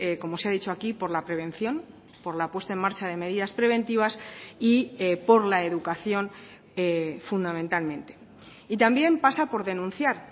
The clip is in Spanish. como se ha dicho aquí por la prevención por la puesta en marcha de medidas preventivas y por la educación fundamentalmente y también pasa por denunciar